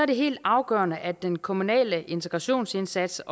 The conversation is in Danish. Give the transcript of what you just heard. det helt afgørende at den kommunale integrationsindsats